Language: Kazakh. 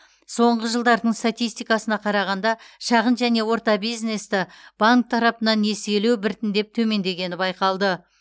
соңғы жылдардың статистикасына қарағанда шағын және орта биззнесті банк тарапынан несиелу біртіндеп төмендегені байқалды